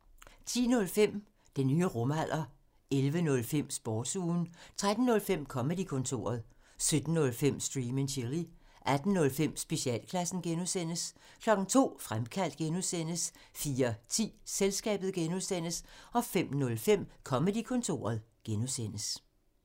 10:05: Den nye rumalder 11:05: Sportsugen 13:05: Comedy-kontoret 17:05: Stream and chill 18:05: Specialklassen (G) 02:00: Fremkaldt (G) 04:10: Selskabet (G) 05:05: Comedy-kontoret (G)